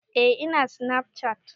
Eh ina sinafcat